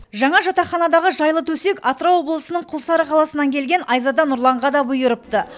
жаңа жатақханадағы жайлы төсек атырау облысының құлсары қаласынан келген айзада нұрланға да бұйырыпты